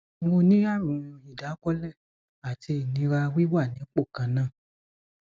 mo ní àrùn ìdákọlẹ àti ìnira wíwà nípò kan náà